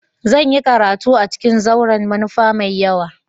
Zan yi karatu a ciƙin zauren manufa mai yawa.